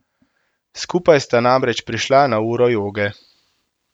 Skupaj sta namreč prišla na uro joge.